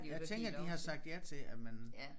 Jeg tænker de har sagt ja til at man